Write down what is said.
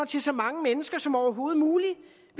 til så mange mennesker som overhovedet muligt